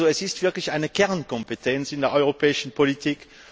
Es ist also wirklich eine Kernkompetenz in der europäischen Politik.